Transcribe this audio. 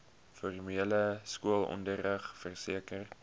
formele skoolonderrig verseker